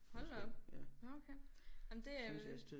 Hold da op nåh okay jamen det er